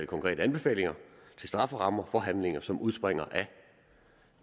konkrete anbefalinger til strafferammer for handlinger som udspringer af